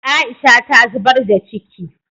Aisha ta zubar da ciki